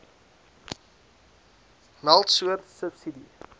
meld soort subsidie